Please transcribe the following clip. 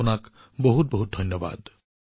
আপোনালোকক অশেষ ধন্যবাদ